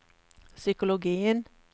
psykologien